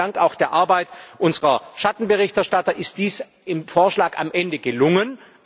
Auch dank der Arbeit unserer Schattenberichterstatter ist dies im Vorschlag am Ende gelungen.